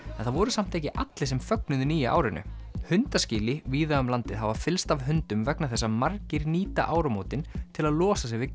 en það voru samt ekki allir sem fögnuðu nýja árinu víða um landið hafa fyllst af hundum vegna þess að margir nýta áramótin til að losa sig við